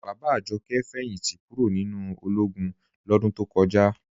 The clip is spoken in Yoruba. Bàbá Àjọ̀kẹ̀ fẹ́yìntí kúró̀ nínu ọlógún lọdún tó kọja.